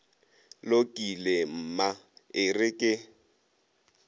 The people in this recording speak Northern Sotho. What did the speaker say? lokile mma e re ke